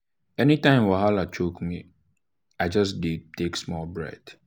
anytime wahala choke me i just dey dey take slow breath.